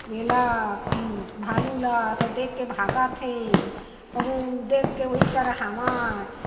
ये ला भालू ला ता देख के भागत हे कोहु देखके ओइच करा हावय।